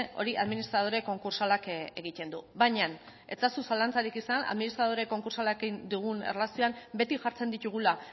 hori administradore konkurtsalak egiten du baina ez eazu zalantzarik izan administradore konkurtsalarekin dugun erlazioan beti jartzen ditugula